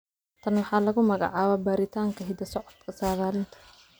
Tan waxaa lagu magacaabaa baaritaanka hidda-socodka saadaalinta.